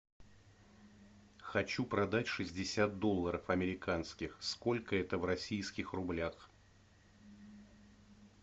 хочу продать шестьдесят долларов американских сколько это в российских рублях